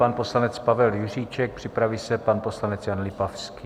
Pan poslanec Pavel Juříček, připraví se pan poslanec Jan Lipavský.